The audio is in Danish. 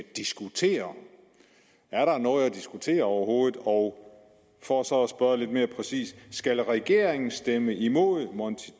diskutere er der noget at diskutere overhovedet og for så at spørge lidt mere præcist skal regeringen stemme imod monti